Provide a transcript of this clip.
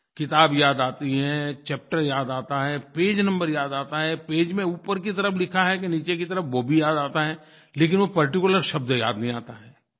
किताब याद आती है चैप्टर याद आता है पेज नंबर याद आता है पेज में ऊपर की तरफ़ लिखा है कि नीचे की तरफ़ वो भी याद आता है लेकिन वो पार्टिकुलर शब्द याद नहीं आता है